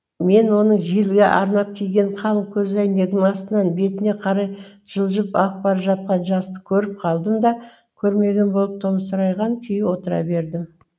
мен оның желге арнап киген қалың көзәйнегінің астынан бетіне қарай жылжып ағып бара жатқан жасты көріп қалдым да көрмеген болып томсырайған күйі отыра бердім